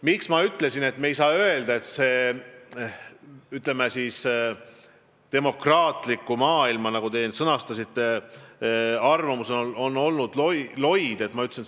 Miks ma ütlesin, et me ei saa öelda, et demokraatliku maailma reaktsioon on olnud loid, nagu te sõnastasite?